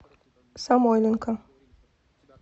самойленко